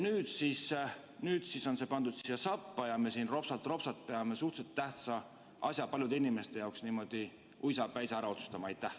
Nüüd on see pandud siia sappa ja me peame ropsat-ropsat paljude inimeste jaoks suhteliselt tähtsa asja niimoodi uisapäisa ära otsustama.